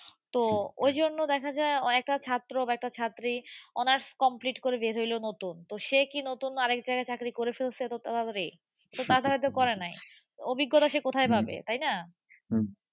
তো ঐজন্য দেখা যায়, একটা ছাত্র বা একটা ছাত্রী honors complete করে বের হইলো নতুন তো সে কি নতুন আর এক জায়গায় চাকরি করে ফেলছে এতো তাড়াতাড়ি? তো তা হয়তো করে নাই। অভিজ্ঞতা সে কোথায় পাবে? তাই না?